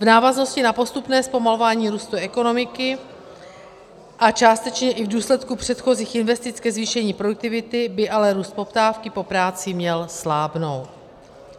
V návaznosti na postupné zpomalování růstu ekonomiky a částečně i v důsledku předchozích investic ke zvýšení produktivity by ale růst poptávky po práci měl slábnout.